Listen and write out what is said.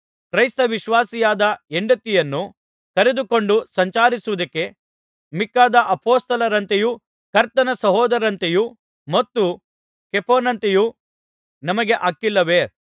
ಕ್ರೈಸ್ತವಿಶ್ವಾಸಿಯಾದ ಹೆಂಡತಿಯನ್ನು ಕರೆದುಕೊಂಡು ಸಂಚರಿಸುವುದಕ್ಕೆ ಮಿಕ್ಕಾದ ಅಪೊಸ್ತಲರಂತೆಯೂ ಕರ್ತನ ಸಹೋದರರಂತೆಯ ಮತ್ತು ಕೇಫನಂತೆಯೂ ನಮಗೆ ಹಕ್ಕಿಲ್ಲವೇ